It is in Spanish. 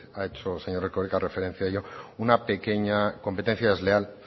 ha hecho señor erkoreka referencia a ello una pequeña competencia desleal